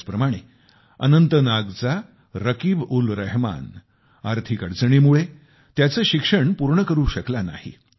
त्याचप्रमाणे अनंतनागचा रकीबउलरहमान आर्थिक अडचणीमुळे आपले शिक्षण पूर्ण करू शकला नाही